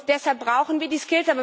Deshalb brauchen wir die